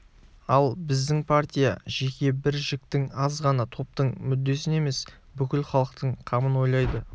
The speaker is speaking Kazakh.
ал біздің партия жеке бір жіктің аз ғана топтың мүддесін емес бүкіл халықтың қамын ойлайды